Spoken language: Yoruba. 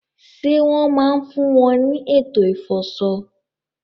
Ṣé wọ́n máa ń fún wọn ní ètò ìfọṣọ?